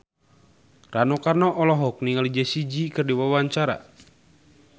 Rano Karno olohok ningali Jessie J keur diwawancara